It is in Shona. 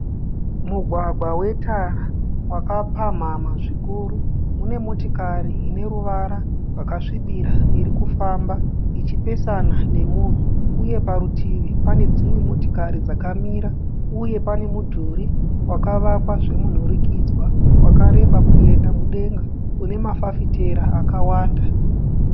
Mugwagwa wetara wakapamhamha zvikuru. Mune motokari ine ruvara rwakasvibira irikufamba ichipesana nemunhu, uye parutivi pane dzimwe motokari dzakamira, uye pane mudhuri wakavakwa zvemunhurikidzwa wakareba kuenda mudenga. Une mafafitera akawanda.